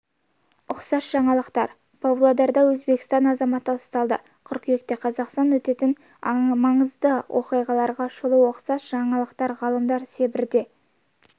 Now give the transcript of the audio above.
ұқсас жаңалықтар павлодарда өзбекстан азаматы ұсталды қыркүйекте қазақстанда өтетін маңызды оқиғаларға шолу ұқсас жаңалықтар ғалымдар сібірде